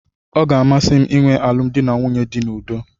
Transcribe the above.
ọ ga-amasị m ịnwe alụmdi na nwunye dị n'udo